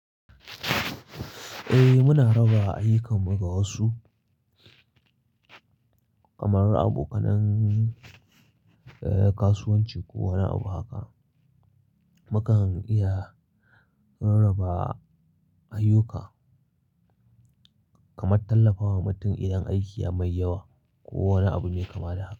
Eh, muna raba ayyukan mu ga wasu, kamar abokanin, eh, kasuwanci ko wani abu haka. Mu kan iya rarraba ayyuka kamar tallafawa mutum idan aiki ya mai yawa ko wani abu mai kama da haka.